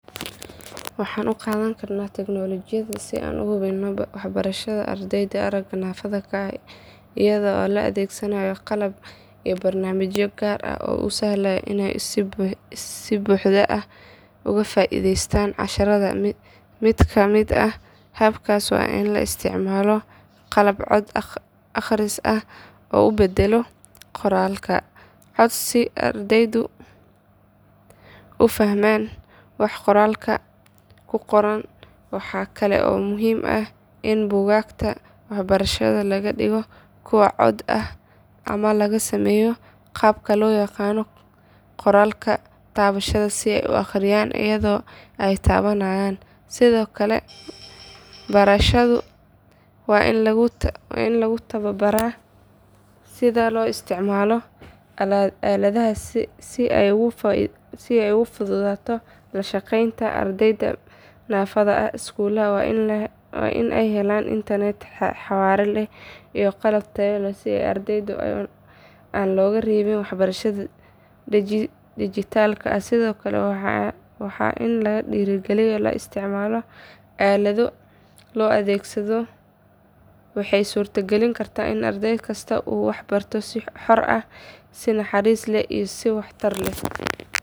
Waxaan u qaadan karnaa tignolojiyada si aan u hubinno waxbarashada ardayda aragga naafada ka ah iyadoo la adeegsanayo qalab iyo barnaamijyo gaar ah oo u sahlaya inay si buuxda uga faa’iideystaan casharrada mid ka mid ah hababkaas waa in la isticmaalo qalab cod akhris ah oo u beddela qoraalka cod si ardaygu u fahmo waxa qoraalka ku qoran waxaa kale oo muhiim ah in buugaagta waxbarashada laga dhigo kuwo cod ah ama laga sameeyo qaabka loo yaqaan qoraalka taabashada si ay u akhriyaan iyadoo ay taabanayaan sidoo kale barayaashu waa in lagu tababaraa sida loo isticmaalo aaladahaas si ay ugu fududaato la shaqeynta ardayda naafada ah iskuulada waa in ay helaan internet xawaare leh iyo qalab tayo leh si ardaydaas aan looga reebin waxbarashada dhijitaalka ah sidoo kale waa in lagu dhiirrigeliyaa isticmaalka aalado casri ah oo la jaanqaadi kara baahiyaha ardayda si caddaalad waxbarasho loo helo tignolojiyada oo si sax ah loo adeegsado waxay suurtagelin kartaa in arday kasta uu wax barto si xor ah si naxariis leh iyo si waxtar leh.